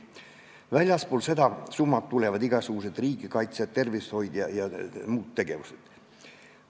Väljaspool seda summat tulevad riigikaitse, tervishoid ja muud tegevused.